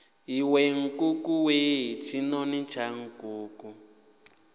iwe nkukuwe tshinoni tsha nkuku